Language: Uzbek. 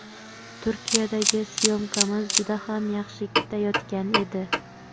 Turkiyadagi syomkamiz juda ham yaxshi ketayotgan edi.